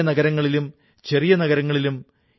അത് പെൻസിലുണ്ടാക്കുന്നതിന് ഇതിനെ വളരെ യോജിച്ചതാക്കുന്നു